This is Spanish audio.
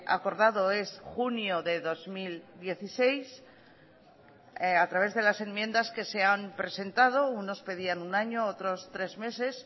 acordado es junio de dos mil dieciséis a través de las enmiendas que se han presentado unos pedían un año otros tres meses